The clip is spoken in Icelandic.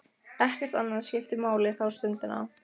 Ekkert annað skiptir máli þá stundina.